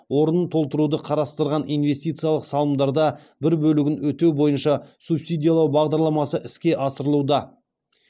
орнын толтыруды қарастырған инвестициялық салымдарда бір бөлігін өтеу бойынша субсидиялау бағдарламасы іске асырылуда